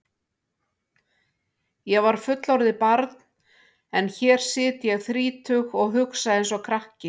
Ég var fullorðið barn en hér sit ég þrítug og hugsa einsog krakki.